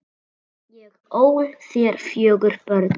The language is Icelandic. Ég ól þér fjögur börn.